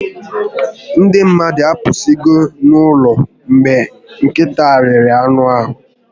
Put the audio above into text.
Ndị mmadụ apụsigo n'ụlọ mgbe nkịta riri anụ ahụ